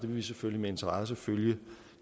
vil selvfølgelig med interesse følge